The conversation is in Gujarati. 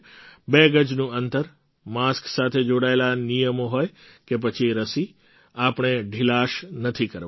બે ગજનું અંતર માસ્ક સાથે જોડાયેલા નિયમોહોય કે પછી રસી આપણે ઢીલાશ નથી કરવાની